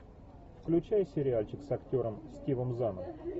включай сериальчик с актером стивом заном